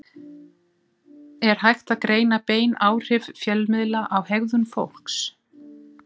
Er hægt að greina bein áhrif fjölmiðla á hegðun fólks?